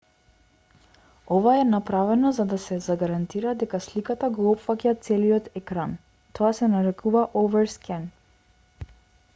ова е направено за да се загарантира дека сликата го опфаќа целиот екран тоа се нарекува overscan